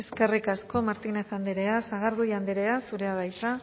eskerrik asko martínez andrea sagardui andrea zurea da hitza